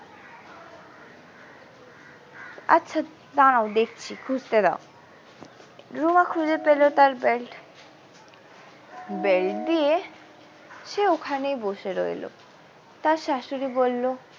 আচ্ছা দাঁড়াও দেখছি খুঁজতে দাও রুমা খুঁজে পেলো তার belt belt দিয়ে সে ওখানেই বসে রইলো তার শাশুড়ি বললো।